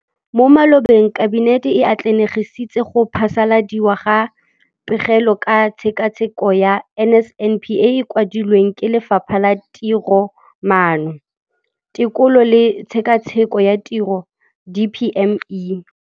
Mo malobeng Kabinete e atlenegisitse go phasaladiwa ga Pegelo ka Tshekatsheko ya NSNP e e kwadilweng ke Lefapha la Tiromaano, Tekolo le Tshekatsheko ya Tiro, DPME.